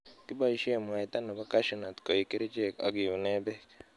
Kiboisiek mwaita nebo Cashew nut koik kerichek ak kiunen bek.